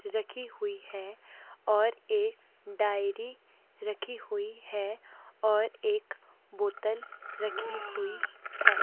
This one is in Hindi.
रखी हुई है और एक डायरी रखी हुई है और एक बोतल रखी हुई है।